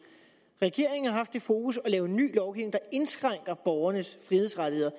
regeringen har haft det fokus at ny lovgivning der indskrænker borgernes frihedsrettigheder